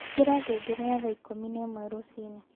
ĩkĩra ngengere ya thaa ĩkũmĩ na ĩmwe rũciini